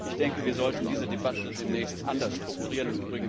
Ich denke, wir sollten diese Debatte demnächst anders strukturieren.